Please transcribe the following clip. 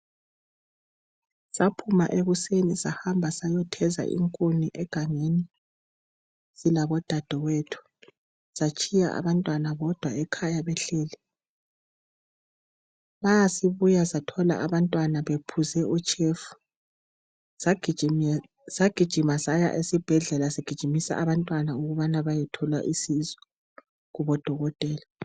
Saphuma ekuseni sahamba sayotheza inkuni egangeni labodadewethu, satshiya abantwana bodwa ekhaya behleli. Masibuya sathola abantwana bephuze utshefu. Sagijima saya esibhedlela sigijimisa abantwana ukubana bayethola usizo kubodokotela.